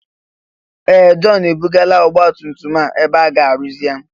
Ee! Jọn ebugala ọgbatumtum a ebe aga arụzi ya.